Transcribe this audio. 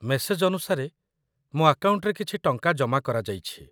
message ଅନୁସାରେ, ମୋ ଆକାଉଣ୍ଟରେ କିଛି ଟଙ୍କା ଜମା କରାଯାଇଛି